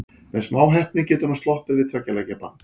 Með smá heppni getur hann sloppið við tveggja leikja bann.